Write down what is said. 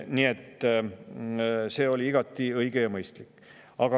Nii et see oli igati õige ja mõistlik.